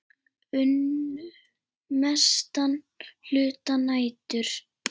Unnu mestan hluta nætur.